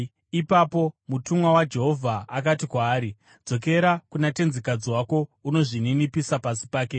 Ipapo mutumwa waJehovha akati kwaari, “Dzokera kuna tenzikadzi wako undozvininipisa pasi pake.”